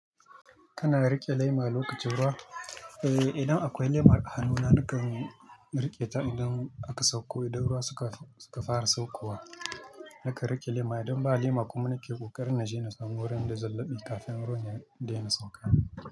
Kana riƙe lema lokacin ruwa? Eh, idan akwai lemar hannuna nakan riƙe ta idan aka sauko, idan ruwa suka fara saukowa. Nakan riƙe lema idan ba lema kuma nikan ƙoƙarin na je na samu wurin da zan laɓe kafin ruwan ya daina sauka.